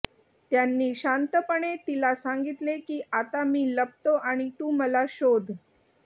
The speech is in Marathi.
त्यांनी शांतपणे तिला सांगितले की आता मी लपतो आणि तू मला शोध